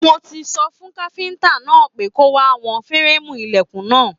Mo tí sọ fún káfíntà náà pé kò wá wọn férémù ilẹkùn náà.